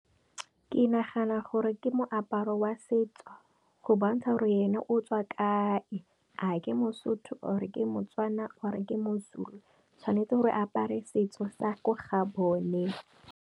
Ke nagana gore ke moaparo wa setso, go bontsha gore ene o tswa kae, a ke Mosotho or ke Motswana or ke Mozulu tshwanetse gore apare setso sa ko ga bone.